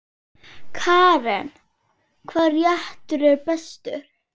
Karen: Hvaða réttur er bestur?